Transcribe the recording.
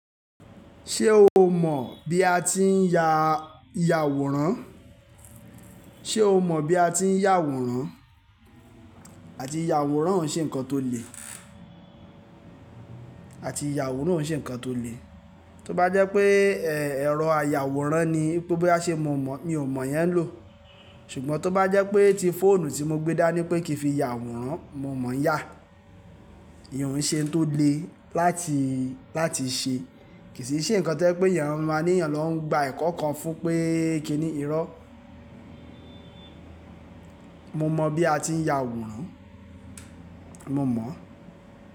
Ṣé o mọ̀ bí a ti ń ya, ya àwòrán? Ṣé o mọ̀ bí a ti ń yà àwòrán? Àti ya àwòrán òún ṣe ǹkan tó le. Àti ya àwòrán òún ṣe ǹkan tó le. Tí ó bá jẹ́ pé ẹ̀, ẹ̀rọ aya àwòrán ni pé ó bá ṣe mọ̀ ọ́n mọ̀, mi ò mọ̀ yẹn lò. Ṣùgbọ́n tí ó bá jẹ́ pé ti fóònù tí mo gbé dá ní pé kí n fi ya àwòrán, mo mọ̀ yá. Ìyèn ǹ ṣe ǹ tó le láti, láti ṣe. Kì í ṣe ǹkan jẹ́ pé ènìyàn máa ní ènìyàn lọ ń gba ẹ̀kọ́ kan fún un pé kíni irọ́. Mo mọ̀ bí a ti ń ya àwòrán. Mo mọ̀